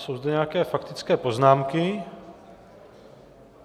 Jsou zde nějaké faktické poznámky.